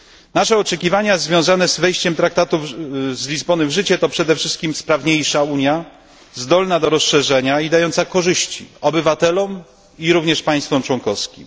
Nasze oczekiwania związane z wejściem w życie traktatu z Lizbony, to przede wszystkim sprawniejsza Unia, zdolna do rozszerzenia i dająca korzyści obywatelom i również państwom członkowskim.